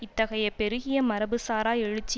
இத்தகைய பெருகிய மரபு சாரா எழுச்சி